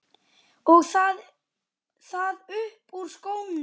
Og það upp úr skónum!